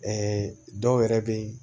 dɔw yɛrɛ be yen